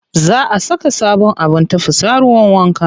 Za a saka sabon abin tafasa ruwan wanka.